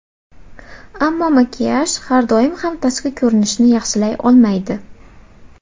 Ammo makiyaj har doim ham tashqi ko‘rinishni yaxshilay olmaydi.